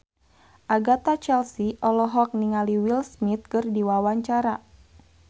Agatha Chelsea olohok ningali Will Smith keur diwawancara